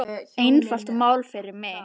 Einfalt mál fyrir mig.